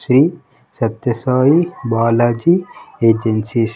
Shri Satya Sai Balaji agencies .